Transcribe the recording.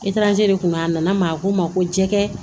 Itarazi de kun a nana maa ko ma ko jɛgɛ